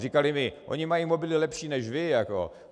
Říkali mi: Oni mají mobily lepší než vy.